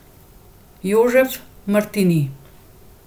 Jožef Martini.